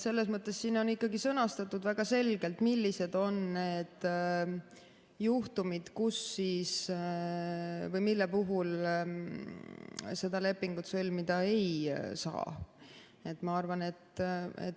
Selles mõttes siin on sõnastatud väga selgelt, millised on need juhtumid, mille puhul seda lepingut sõlmida ei saa.